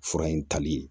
Fura in tali